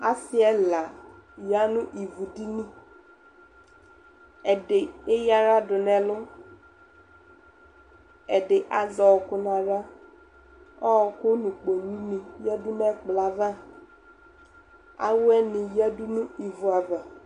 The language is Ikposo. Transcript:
Asɩ ɛla ya nʋ ivudini Ɛdɩ eyǝ aɣla dʋ nʋ ɛlʋ Ɛdɩ azɛ ɔɣɔkʋ nʋ aɣla Ɔɣɔkʋ nʋ kpolunɩ yǝdu nʋ ɛkplɔ yɛ ava Awɛnɩ yǝdu nʋ ivu ava